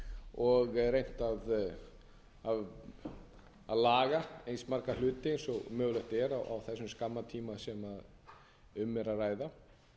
unnið vel og reynt að laga eins marga hluti og mögulegt er á þessum skamma tíma sem um er að ræða að